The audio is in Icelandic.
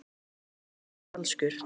Tónninn er falskur.